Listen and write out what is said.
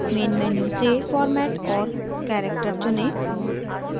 main menu से format और character चुनें